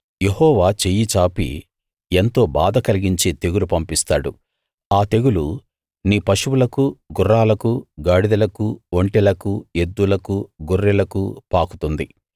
యెహోవా చెయ్యి చాపి ఎంతో బాధ కలిగించే తెగులు పంపిస్తాడు ఆ తెగులు నీ పశువులకు గుర్రాలకు గాడిదలకు ఒంటెలకు ఎద్దులకు గొర్రెలకు పాకుతుంది